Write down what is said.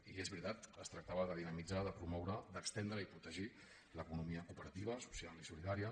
i és veritat es tractava de dinamitzar de promoure d’estendre i protegir l’economia cooperativa social i solidària